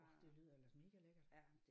Orh det lyder ellers mega lækkert